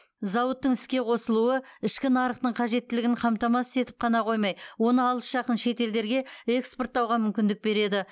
зауыттың іске қосылуы ішкі нарықтың қажеттілігін қамтамасыз етіп қана қоймай оны алыс жақын шетелдерге экспорттауға мүмкіндік береді